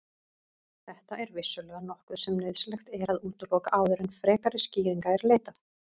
Þetta er vissulega nokkuð sem nauðsynlegt er að útiloka áður en frekari skýringa er leitað.